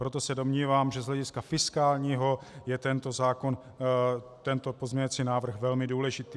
Proto se domnívám, že z hlediska fiskálního je tento pozměňovací návrh velmi důležitý.